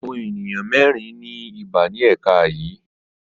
Àwọn ènìyàn mẹ́rin ní ibà ní ẹ̀ka yìí.